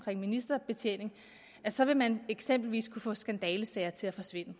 ministerbetjening så vil man eksempelvis kunne få skandalesager til at forsvinde